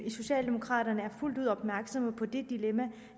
i socialdemokraterne er fuldt ud opmærksomme på det dilemma